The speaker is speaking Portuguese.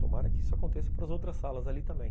Tomara que isso aconteça para as outras salas ali também.